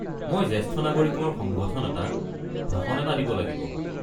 মই জেষ্ঠ নাগৰিকৰ সংগঠন এটাত ভাষণ এটা দিব লাগিব।